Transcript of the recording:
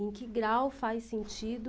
Em que grau faz sentido?